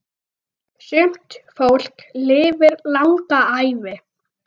Sumt fólk lifir langa ævi.